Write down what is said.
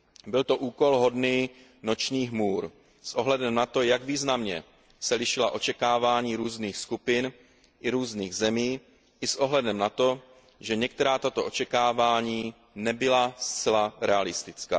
Byl to úkol hodný nočních můr s ohledem na to, jak významně se lišila očekávání různých skupin i různých zemí i s ohledem na to, že některá tato očekávání nebyla zcela realistická.